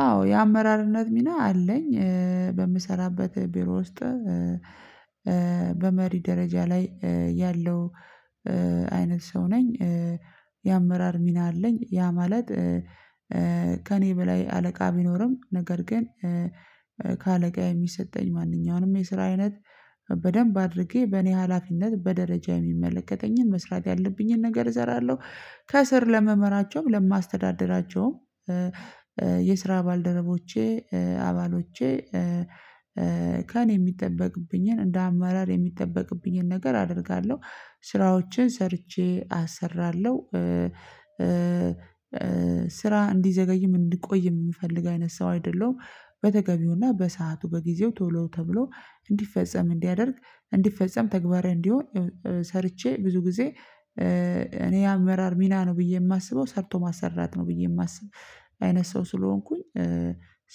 አዎ የአመራርነት ሚና አለኝ በምሰራበት ቢሮ ውስጥ በመሪ ደረጃ ላይ ያለው አይነት ሰው ነኝ። የአመራር ሚና አለኝ ያ ማለት ከእኔ በላይ አለቃ ቢኖርም ነገር ግን። ከአለቃ የሚሰጠኝ ማንኛውንም የስራ አይነት። በደንብ አድርጌ በእኔ ሀላፊነት በደረጃ የሚመለከተኝን መስራት ያለብኝን ነገር እሰራለሁ ከስር ለምመራቸውም ለማስተዳደራቸውም። የስራ ባልደረቦቼ አባሎቼ። ከእኔ የሚጠበቅብኝን እንደ አማራጭ የሚጠበቅብኝን ነገር አደርጋለሁ። ስራዎችን ሰርቼ አሰራለሁ። ስራ እንዲዘገይም እንዲቆይም የምፈልግ አይነት ሰው አይደለሁም። በተገቢውና በሰአቱ በጊዜው ቶሎ ተብሎ እንዲፈጸም እንዲያደርግ እንዲፈጸም ተግባር እንዲሆን። ሰርቼ ብዙ ጊዜ እኔ አመራር ሚና ነው ብዬ የማስበው ሰርቶ ማሰራት ነው ብዬ የማስብ አይነት ሰው ስለሆንኩኝ።